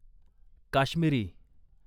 Kashmiri